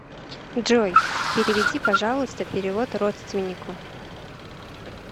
джой переведи пожалуйста перевод родственнику